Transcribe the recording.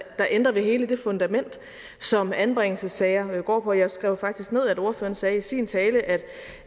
ændrer ved hele det fundament som anbringelsessager går på jeg skrev faktisk ned at ordføreren sagde i sin tale at